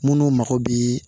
Minnu mago bi